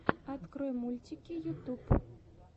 открой мультики ютуб